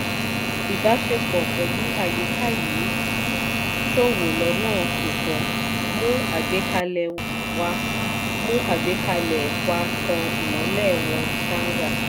ìbáṣepọ̀ pẹ̀lú àyíká yìí ṣòwò lọnà kò tọ́; mú àgbékalẹ̀ wá mú àgbékalẹ̀ wá tàn ìmọ́lẹ̀ wọn sànga